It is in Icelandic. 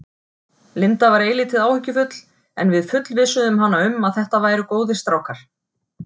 Linda var eilítið áhyggjufull en við fullvissuðum hana um að þetta væru góðir strákar.